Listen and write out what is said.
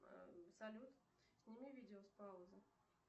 салют сними видео с паузы